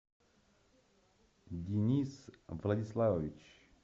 денис владиславович